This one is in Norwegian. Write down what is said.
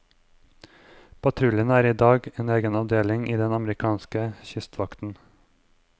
Patruljen er i dag en egen avdeling i den amerikanske kystvakten.